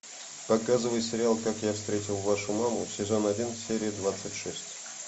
показывай сериал как я встретил вашу маму сезон один серия двадцать шесть